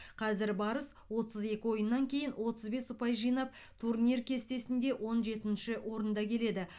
қазір барыс отыз екі ойыннан кейін отыз бес ұпай жинап турнир кестесінде он жетінші орында келеді